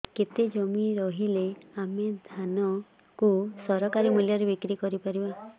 କେତେ ଜମି ରହିଲେ ଆମେ ଧାନ କୁ ସରକାରୀ ମୂଲ୍ଯରେ ବିକ୍ରି କରିପାରିବା